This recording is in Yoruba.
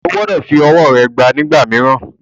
O gbọdọ̀ fi ọwọ́ rẹ gbá a nígbà mìíràn.